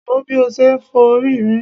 Wò ó bí ó ṣe ń forí rìn.